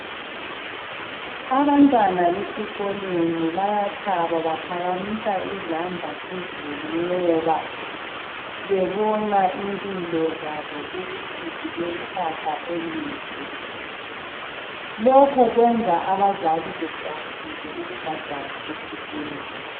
Abantwana besikolweni bayathaba baphakamisa izandla phezulu ngoba bebona ukuthi impilo zabo zilekusasa elihle. Lokhu kwenza abazali bejabule ukubhadala esikolweni.